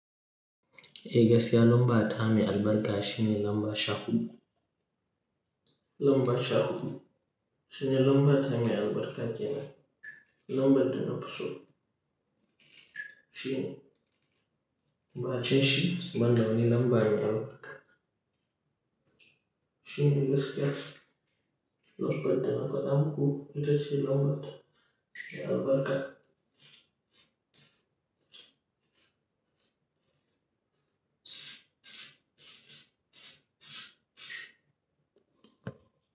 Eh gaskiya lamba ta me albarka shine lamba sha hudu. Lamba sha hudu. Shine lamba ta me albarka kenan. Lambar dana fi so shine, ba shine shi? Banda wane lambar me albarka. Shine gaskiya lambar dana faɗa hudu ita ce lamba ta me albarka.